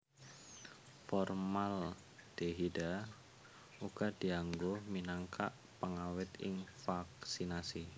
Formaldehida uga dianggo minangka pengawèt ing vaksinasi